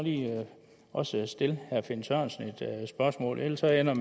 også lige stille herre finn sørensen et spørgsmål ellers ender